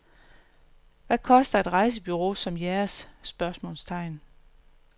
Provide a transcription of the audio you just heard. Hvad koster et rejsebureau som jeres? spørgsmålstegn